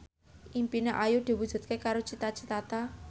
impine Ayu diwujudke karo Cita Citata